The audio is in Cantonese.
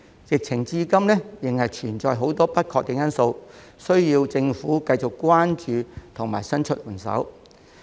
疫情至今仍存在很多不確定因素，需要政府繼續關注及伸出援手。